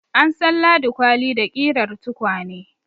An san Ladi kwali da ƙirar tukwane.